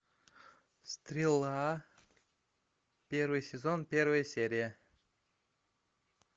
стрела первый сезон первая серия